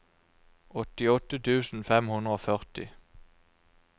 åttiåtte tusen fem hundre og førti